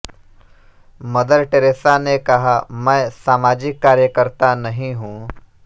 mother Teresa ने कहा मैं सामाजिक कार्यकर्ता नहीं हूं